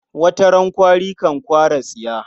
Wata rana kwari kan kwara tsiya.